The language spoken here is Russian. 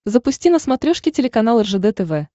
запусти на смотрешке телеканал ржд тв